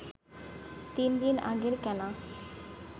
তিন দিন আগের কেনা